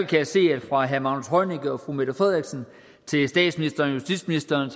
fra herre magnus heunicke og fru mette frederiksen til statsministeren og justitsministeren